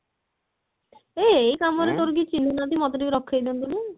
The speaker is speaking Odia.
ଆ ଏଇ କାମ ରେ ତୋର କେହି ଚିହ୍ନା ନାହାନ୍ତି ମୋତେ ଟିକେ ରଖେଇ ଦିଅନ୍ତୁନି